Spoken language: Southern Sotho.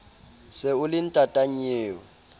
se o le ntata nnyeo